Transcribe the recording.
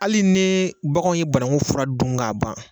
Hali ni baganw ye bananku fura dun k'a ban